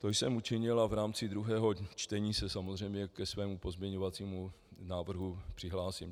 To jsem učinil a v rámci druhého čtení se samozřejmě ke svému pozměňovacímu návrhu přihlásím.